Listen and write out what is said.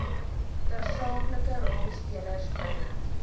tersaaklike rolspelers binne